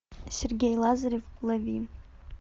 сергей лазарев лови